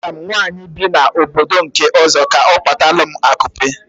Agwaram nwaanyị bi na obodo nke ọzọ, ka ọ kpatalum akupe